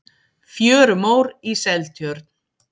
fjörumór í seltjörn